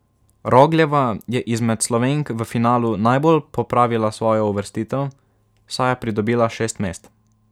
Rogljeva je izmed Slovenk v finalu najbolj popravila svojo uvrstitev, saj je pridobila šest mest.